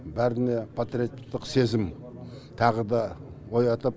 бәріне патриоттық сезім тағы да оятып